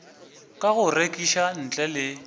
ka go rekiša ntle le